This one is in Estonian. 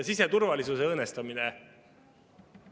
Siseturvalisuse õõnestamine.